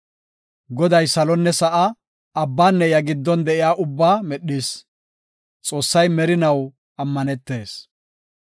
Goday salonne sa7aa, abbanne iya giddon de7iya ubbaa medhis; Xoossay merinaw ammanetees.